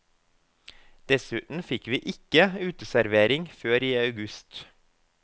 Dessuten fikk vi ikke uteservering før i august.